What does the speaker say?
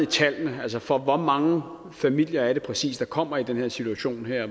tallene for hvor mange familier er det præcis der kommer i den her situation